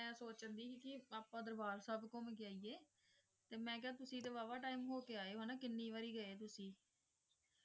ਆਪਾਂ ਦਰਬਾਰ ਸਬ ਘੁਮ ਕੀ ਅਏਯ ਮੈਂ ਕਿਯਾ ਤੁਸੀਂ ਟੀ ਵਾਵਾ ਟੀਮੇ ਹੋ ਕੀ ਆਯ ਊ ਕੀਨੀ ਵਾਰੀ